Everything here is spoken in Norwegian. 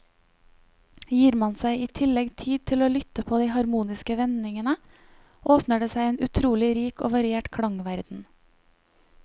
Gir man seg i tillegg tid til å lytte på de harmoniske vendingene, åpner det seg en utrolig rik og variert klangverden.